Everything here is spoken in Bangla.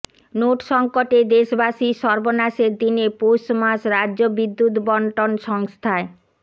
নোট সঙ্কটে দেশবাসীর সর্বনাশের দিনে পৌষমাস রাজ্য বিদ্যুত্ বন্টন সংস্থায়